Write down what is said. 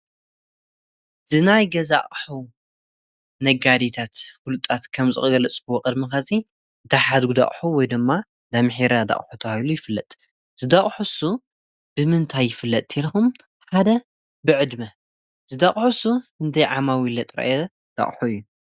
ዝናይ ገዛ ኣቕሑ ነጋዲታት ኲልጣት ከም ዝቕገለጽዎ ቕድሚኸጺ ታሓድጕዳዕሖ ወይ ዶማ ዳምኂራ ዳቕሕ ታሉ ይፍለጥ ዝዳቕሑሱ ብምንታይ ይፍለጥ ቴልኹም ሓደ ብዕድመ ዝዳቕሑሱ እንተይ ዓማዊል ጥረ ዳቕሓ እዩ።